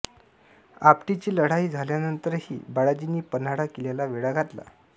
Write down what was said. आप्टीची लढाई झाल्यानंतरही बाळाजींनी पन्हाळा किल्ल्याला वेढा घातला